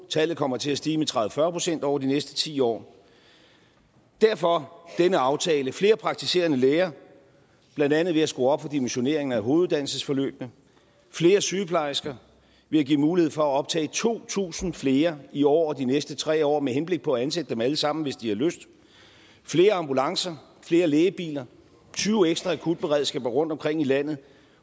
tallet kommer til at stige med tredive til fyrre procent over de næste ti år derfor denne aftale flere praktiserende læger blandt andet ved at skrue op for dimensioneringen af hoveduddannelsesforløbene flere sygeplejersker ved at give mulighed for at optage to tusind flere i år og de næste tre år med henblik på at ansætte dem alle sammen hvis de har lyst flere ambulancer flere lægebiler tyve ekstra akutberedskaber rundtomkring i landet